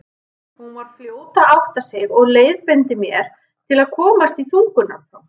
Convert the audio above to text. Hún var fljót að átta sig og leiðbeindi mér til að komast í þungunarpróf.